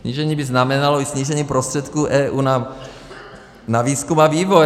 Snížení by znamenalo i snížení prostředků EU na výzkum a vývoj.